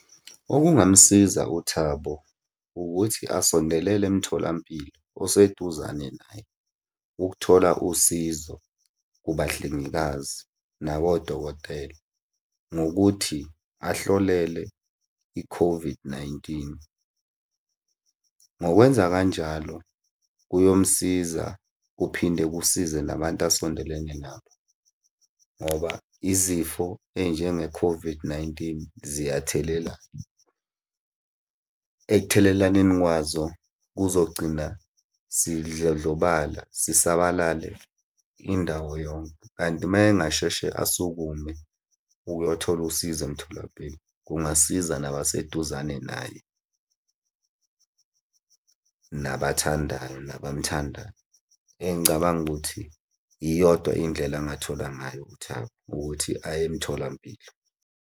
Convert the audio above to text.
Okungamsiza uThabo ukuthi asondelele emtholampilo oseduzane naye. Ukuthola usizo kubahlengikazi nabodokotela ngokuthi ahlolele i-COVID-19. Ngokwenza kanjalo kuyomusiza kuphinde kusize nabantu asondelene nabo, ngoba izifo ey'njenge-COVID-19 ziyathelelana. Ekuthelelaneni kwazo kuzogcina sidlondlobala sisabalale indawo yonke, kanti uma engasheshe asukume ukuyothola usizo emtholampilo kungasiza nabaseduzane naye, nabathandayo nabamuthandayo. Engicabanga ukuthi iyodwa indlela angathola ngayo uThabo, ukuthi aye emtholampilo.